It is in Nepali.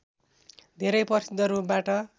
धेरै प्रसिद्ध रूपबाट